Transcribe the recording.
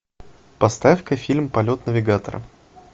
поставь ка фильм полет навигатора